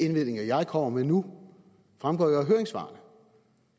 indvendinger jeg kommer med nu fremgår jo af høringssvarene